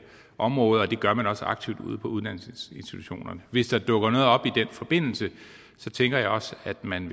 område og det gør man også aktivt ude på uddannelsesinstitutionerne hvis der dukker noget op i den forbindelse tænker jeg også at man